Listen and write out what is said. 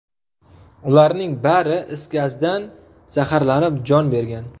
Ularning bari is gazdan zaxarlanib, jon bergan.